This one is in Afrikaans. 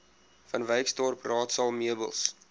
vanwyksdorp raadsaal meubels